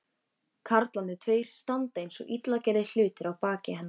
Karlarnir tveir standa einsog illa gerðir hlutir að baki hennar.